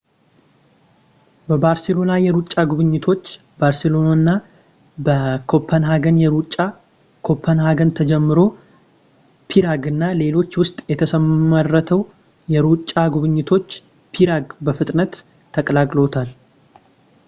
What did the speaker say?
በባርሴሎና የሩጫ ጉብኝቶች ባርሴሎና እና በኮፐንሃገን የሩጫ ኮፐንሃገን ተጀምሮ ፕራግ እና ሌሎች ውስጥ የተመሰረተው የሩጫ ጉብኝቶች ፕራግ በፍጥነት ተቀላቅለውታል